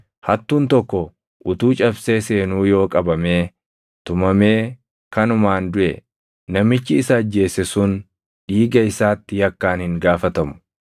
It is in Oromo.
“Hattuun tokko utuu cabsee seenuu yoo qabamee tumamee kanumaan duʼe, namichi isa ajjeese sun dhiiga isaatti yakkaan hin gaafatamu;